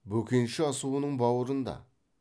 бөкенші асуының бауырында